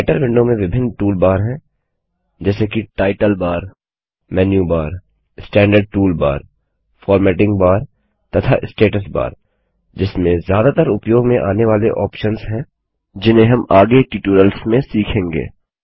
writer window में विभिन्न tool bar हैं जैसे कि title bar menu bar standard tool bar formatting bar तथा स्टेट्स बार जिसमें ज्यादातर उपयोग में आने वाले ऑप्शंस हैं जिन्हें हम आगे ट्यूटोरियल्स में सीखेंगे